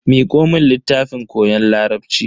Miko mun littafin koyon larabci.